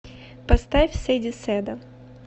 поставь сэдди сэда